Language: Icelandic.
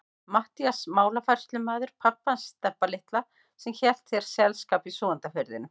Matthías málafærslumaður, pabbi hans Stebba litla sem hélt þér selskap í Súgandafirðinum.